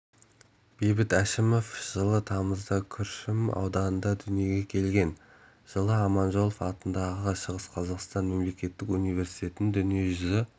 бейбіт әшімов жылы тамызда күршім ауданында дүниеге келген жылы аманжолов атындағы шығыс қазақстан мемлекеттік университетін дүниежүзі